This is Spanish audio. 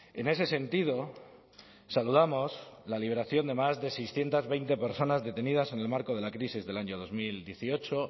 en ese sentido saludamos la liberación de más de seiscientos veinte personas detenidas en el marco de la crisis del año dos mil dieciocho